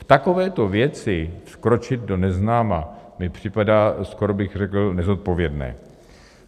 V takovéto věci vkročit do neznáma mi připadá... skoro bych řekl nezodpovědné.